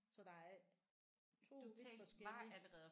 Så der er 2 forskellige